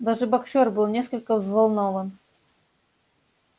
даже боксёр был несколько взволнован